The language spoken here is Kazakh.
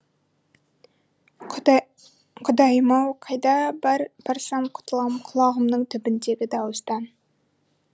құдайым ау қайда барсам құтылам құлағымның түбіндегі дауыстан